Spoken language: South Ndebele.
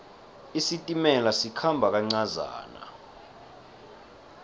isitimela sikhamba kancazana